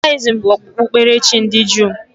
Judayizim bụ okpukperechi ndị Juu.